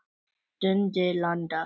Dundi landa!